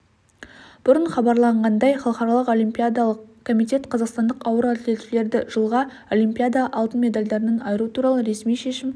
бұрын хабарланғандай халықаралық олимпиадалық комитет қазақстандық ауыр атлетшілерді жылғы олимпиада алтын медальдарынан айыру туралы ресми шешім